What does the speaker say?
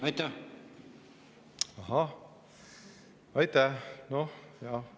Ahah, aitäh!